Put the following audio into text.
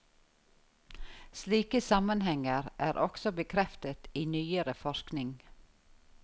Slike sammenhenger er også bekreftet i nyere forskning.